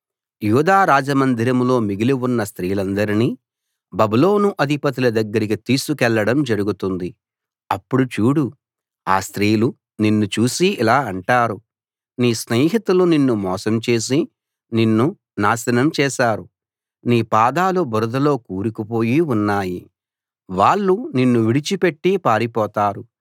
యూదా రాజమందిరంలో మిగిలి ఉన్న స్త్రీలందరినీ బబులోను అధిపతుల దగ్గరికి తీసుకెళ్ళడం జరుగుతుంది అప్పుడు చూడు ఆ స్త్రీలు నిన్ను చూసి ఇలా అంటారు నీ స్నేహితులు నిన్ను మోసం చేసి నిన్ను నాశనం చేశారు నీ పాదాలు బురదలో కూరుకుపోయి ఉన్నాయి వాళ్ళు నిన్ను విడిచి పెట్టి పారిపోతారు